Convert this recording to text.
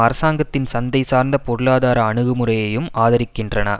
அரசாங்கத்தின் சந்தை சார்ந்த பொருளாதார அணுகுமுறையையும் ஆதரிக்கின்றன